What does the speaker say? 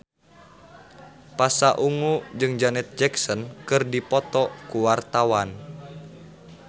Pasha Ungu jeung Janet Jackson keur dipoto ku wartawan